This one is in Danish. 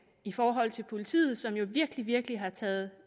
i forhold til politiet som jo virkelig virkelig har taget